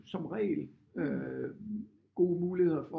Som regel øh gode muligheder for